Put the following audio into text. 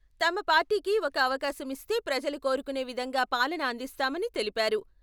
తమ పార్టీకి ఒక అవకాశమిస్తే ప్రజలు కోరుకునే విధంగా పాలన అందిస్తామని తెలిపారు.